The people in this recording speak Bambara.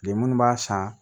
Bi munnu b'a san